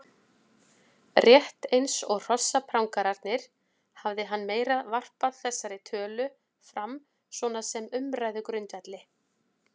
Rétt eins og hrossaprangararnir hafði hann meira varpað þessari tölu fram svona sem umræðugrundvelli.